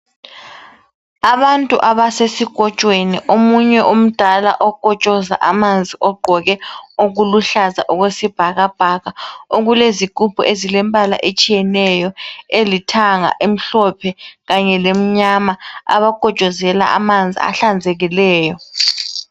Abantu abasesikotshweni omunye umdala okotshoza amanzi, ogqoke okuluhlaza okwesibhakabhaka okulezigubhu ezilembala etshiyeneyo, elithanga, emhlophe lemnyama abakotshozelwa amanzi ahlanzekileyo.